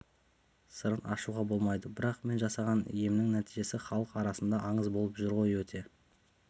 сырын ашуға болмайды бірақ мен жасаған емнің нәтижесі халық арасында аңыз болып жүр ғой өте